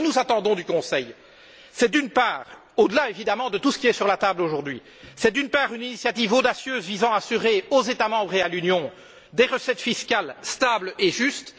Donc, ce que nous attendons du Conseil au delà, évidemment, de tout ce qui est sur la table aujourd'hui c'est, d'une part, une initiative audacieuse visant à assurer aux États membres et à l'Union des recettes fiscales stables et justes.